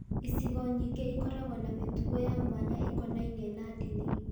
Icigo nyingĩ ikoragwo na mĩtugo ya mwanya ĩkonainie na ndini.